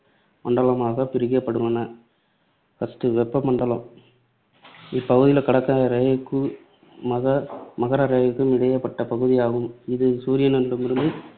மண்டலமாகப் பிரிக்கப்பட்டுள்ளன. first வெப்ப மண்டலம் இப்பகுதி கடக ரேகைக்கும், மக~ மகரரேகைக்கும் இடைப்பட்ட பகுதியாகும். இது சூரியனிடமிருந்து